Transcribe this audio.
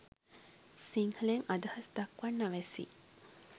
සිංහලෙන් අදහස් දක්වන්න අවැසි